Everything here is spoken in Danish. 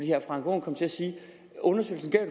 herre frank aaen kom til at sige undersøgelsen gav